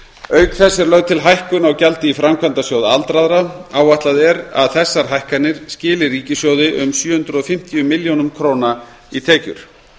auk þess er lögð til hækkun á gjaldi í framkvæmdasjóð aldraðra áætlað er að þessar hækkanir skili ríkissjóði um sjö hundruð og fimmtíu milljónir króna í tekjur